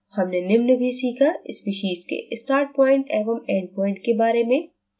हमने निम्न भी सीखा: species के startpoint एवं endpoint के बारे में